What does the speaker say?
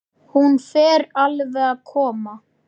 Hún fer alveg að koma.